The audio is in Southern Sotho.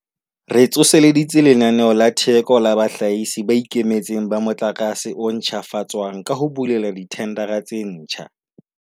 Re tsoseleditse Lenaneo la Theko la Bahlahisi ba Ikemetseng ba Motlakase o Ntjhafatswang ka ho bulela dithendara tse ditjha.